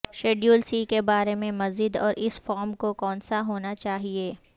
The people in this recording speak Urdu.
شیڈول سی کے بارے میں مزید اور اس فارم کو کونسا ہونا چاہیے